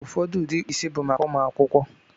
Ụfọdụ ụdị ịkpụ isi bụ maka ụmụ akwụkwọ.